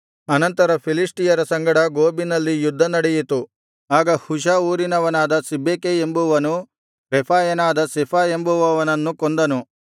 ಅನಂತರ ಫಿಲಿಷ್ಟಿಯರ ಸಂಗಡ ಗೋಬಿನಲ್ಲಿ ಯುದ್ಧ ನಡೆಯಿತು ಆಗ ಹುಷಾ ಊರಿನವನಾದ ಸಿಬ್ಬೆಕೈ ಎಂಬುವನು ರೆಫಾಯನಾದ ಸೆಫ ಎಂಬುವನನ್ನು ಕೊಂದನು